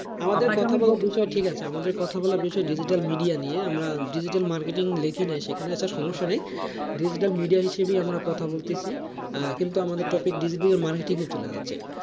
আমাদের কথা বলার বিষয় ঠিক আছে আমাদের কথা বলার বিষয় digital media নিয়ে আমরা digital marketing সেখানে সমস্যা নাই digital media হিসেবে আর কথা বলতেছি, আহ কিন্তু আমাদের topic digital marketing চলে গেছে,